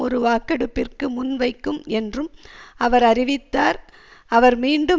ஒரு வாக்கெடுப்பிற்கு முன்வைக்கும் என்றும் அவர் அறிவித்தார் அவர் மீண்டும்